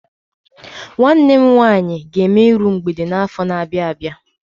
Nwanne m nwaanyị ga-eme iru mgbede n'afọ na-abịa abịa.